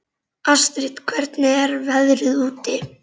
Astrid, hvernig er veðrið úti?